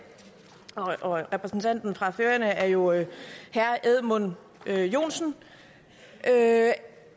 repræsentanten fra færøerne er jo herre edmund joensen